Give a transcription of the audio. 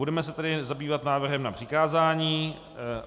Budeme se tedy zabývat návrhem na přikázání.